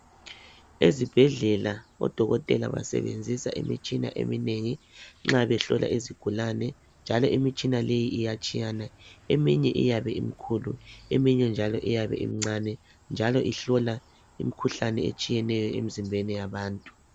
Ezibhedlela odokotela basebenzisa imitshina eminengi nxa behlola izigulane njalo imitshina leyi iyatshiyana. Eminye iyabe imkhulu, eminye njalo iyabe imncane njalo ihlola imikhuhlane etshiyeneyo emizimbeni yabantu.